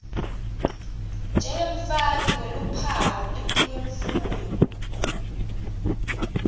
njengemfaki weluphawu etikwemfuyo